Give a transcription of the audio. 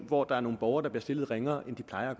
hvor der er nogle borgere der bliver stillet ringere end de plejer